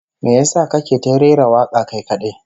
Me yasa kake ta rera waka kai kadai?